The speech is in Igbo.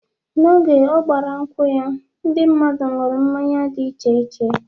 Mgbe ọ gbara nkwu ya, ndị mmadụ nụrụ mmanya dị iche iche